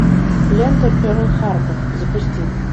лента перл харбор запусти